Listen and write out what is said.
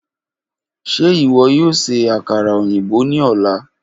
Ṣe iwọ yoo ṣe akara oyinbo ni ọla?